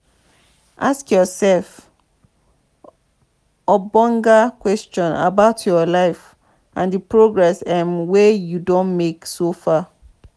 ask yourself ogbonge question about your life and di progress um wey you don make so far